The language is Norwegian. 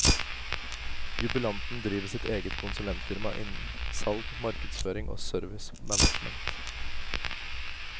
Jubilanten driver sitt eget konsulentfirma innen salg, markedsføring og service management.